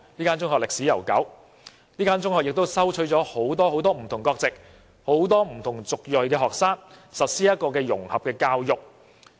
該中學歷史悠久，亦收取了很多不同國籍及族裔的學生，實施融合教育。